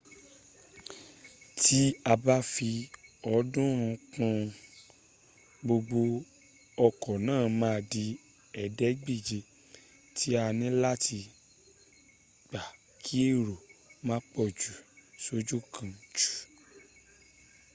tí a ba fi ọ̀ọ́dúnrún ún kún un gbogbo ọkọ̀ náà ma dí ẹ̀ẹ́dẹ́gbèje tí a níláti gbà kí èrò má pọ̀jù sójú kan jù